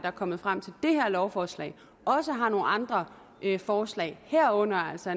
er kommet frem til det her lovforslag også har nogle andre forslag herunder altså